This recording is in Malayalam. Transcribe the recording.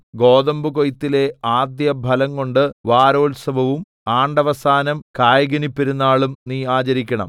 ഗോതമ്പുകൊയ്ത്തിലെ ആദ്യഫലം കൊണ്ട് വാരോത്സവവും ആണ്ടവസാനം കായ്കനിപ്പെരുനാളും നീ ആചരിക്കണം